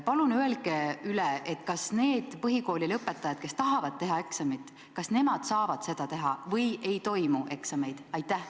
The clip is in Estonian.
Palun korrake üle, kas need põhikoolilõpetajad, kes tahavad eksamit teha, saavad seda teha või eksameid siiski ei toimu?